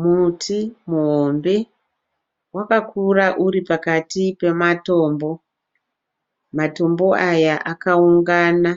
Muti muhombe wakakura uri pakati pematombo. Matombo aya akaungana